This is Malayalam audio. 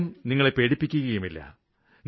ആരും നിങ്ങളെ പേടിപ്പിക്കുകയുമില്ല